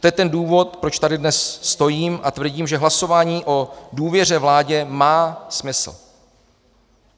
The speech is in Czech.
To je ten důvod, proč tady dnes stojím a tvrdím, že hlasování o důvěře vládě má smysl.